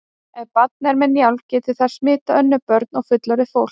Ef barn er með njálg getur það smitað önnur börn og fullorðið fólk.